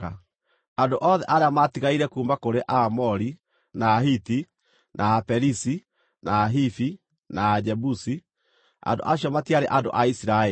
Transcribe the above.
Andũ othe arĩa maatigaire kuuma kũrĩ Aamori, na Ahiti, na Aperizi, na Ahivi, na Ajebusi (andũ acio matiarĩ andũ a Isiraeli),